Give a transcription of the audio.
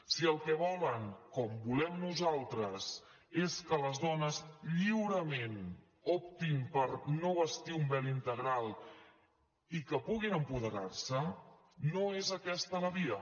si el que volen com volem nosaltres és que les dones lliurement optin per no vestir un vel integral i que puguin apoderar se no és aquesta la via